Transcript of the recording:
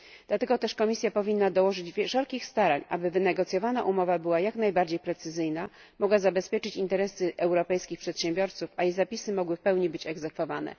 Dlatego też Komisja powinna dołożyć wszelkich starań, aby wynegocjowana umowa była jak najbardziej precyzyjna, mogła zabezpieczyć interesy europejskich przedsiębiorców, a jej zapisy mogły w pełni być egzekwowane.